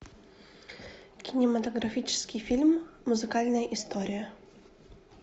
кинематографический фильм музыкальная история